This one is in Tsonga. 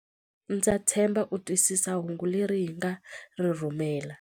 Ndza tshemba u twisisa hungu leri hi nga ri rhumela.